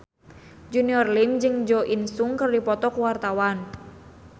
Junior Liem jeung Jo In Sung keur dipoto ku wartawan